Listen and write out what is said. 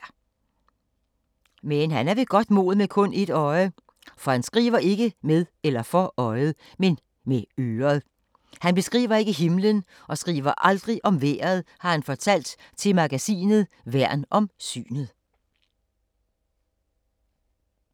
Men han er ved godt mod med kun et øje. For han skriver ikke med eller for øjet, men med øret. Han beskriver ikke himlen og skriver aldrig om vejret, har han fortalt til magasinet Værn om synet.